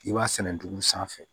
I b'a sɛnɛ dugu sanfɛ